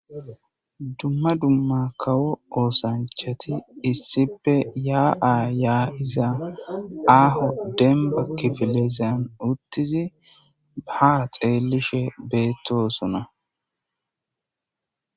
Dumma dumma kawo oosanchati issipe yaa7a yaa7izaa aaho demba kifilezan uttizi baa xeelishe beettosona.